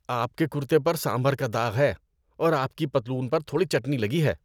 آپ کے کُرتے پر سمبھار کا داغ ہے اور آپ کی پتلون پر تھوڑی چٹنی لگی ہے۔